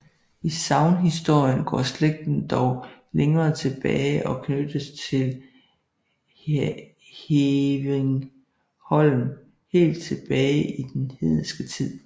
I sagnhistorien går slægten dog længere tilbage og knyttes til Hevringholm helt tilbage til den hedenske tid